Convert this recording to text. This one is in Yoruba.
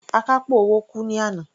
Akápò owó kú ní àná.